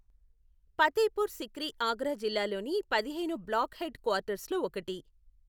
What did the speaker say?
ఫతేపూర్ సిక్రి ఆగ్రా జిల్లాలోని పదిహేను block head క్వార్టర్స్లో ఒకటి.